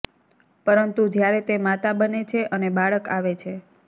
પરંતુ જ્યારે તે માતા બને છે અને બાળક આવે છે